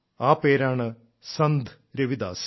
ആ പേരാണ് സന്ത് രവിദാസ്